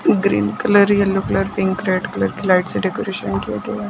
Green colour yellow colour pink red colour की light से decoration किया गया है।